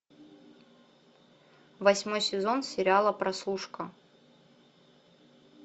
восьмой сезон сериала прослушка